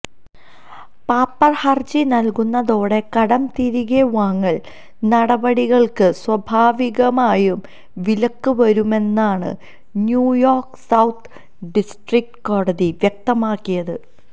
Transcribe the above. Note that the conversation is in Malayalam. പാപ്പര് ഹര്ജി നല്കുന്നതോടെ കടംതിരികെ വാങ്ങല് നടപടികള്ക്ക് സ്വാഭാവികമായും വിലക്ക് വരുമെന്നാണ് ന്യൂയോര്ക്ക് സൌത്ത് ഡിസ്ട്രിക്ട് കോടതി വ്യക്തമാക്കിയത്